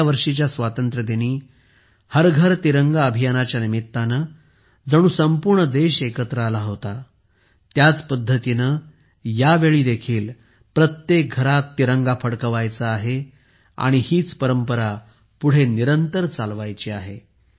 गेल्या वर्षीच्या स्वातंत्र्यदिनी हर घर तिरंगा अभियाना च्या निमित्ताने जणू संपूर्ण देश एकत्र आला होता त्याच पद्धतीने यावेळीही प्रत्येक घरात तिरंगा फडकवायचा आहे आणि ही परंपरा पुढे निरंतर चालवायची आहे